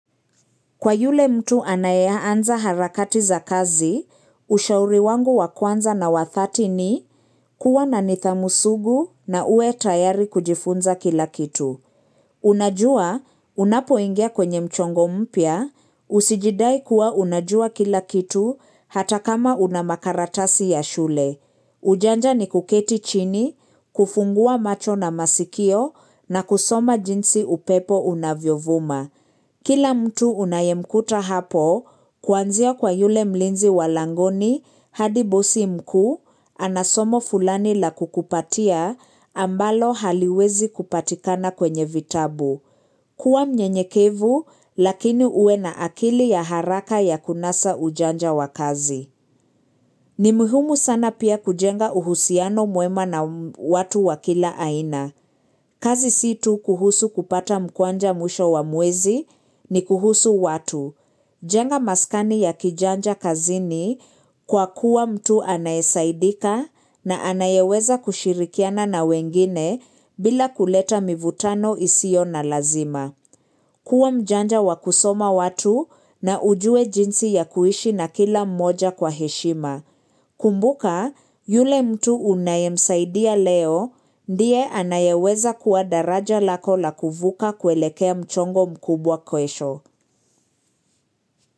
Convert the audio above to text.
Kwa yule mtu anayeanza harakati za kazi, ushauri wangu wa kwanza na wa dhati ni kuwa na nidhamu sugu na uwe tayari kujifunza kila kitu. Unajua, unapoingia kwenye mchongo mpya, usijidai kuwa unajua kila kitu hata kama una makaratasi ya shule. Ujanja ni kuketi chini, kufungua macho na masikio na kusoma jinsi upepo unavyovuma. Kila mtu unayemkuta hapo, kuanzia kwa yule mlinzi wa langoni, hadi bosi mkuu, ana somo fulani la kukupatia, ambalo haliwezi kupatikana kwenye vitabu. Kuwa mnyenyekevu, lakini uwe na akili ya haraka ya kunasa ujanja wa kazi. Ni muhumu sana pia kujenga uhusiano mwema na watu wakila aina. Kazi situ kuhusu kupata mkwanja mwisho wa mwezi ni kuhusu watu. Jenga maskani ya kijanja kazini kwa kuwa mtu anayesaidika na anayeweza kushirikiana na wengine bila kuleta mivutano isiyo na lazima. Kuwa mjanja wa kusoma watu na ujue jinsi ya kuishi na kila mmoja kwa heshima. Kumbuka, yule mtu unayemsaidia leo, ndiye anayeweza kuwa daraja lako la kuvuka kuelekea mchongo mkubwa kesho.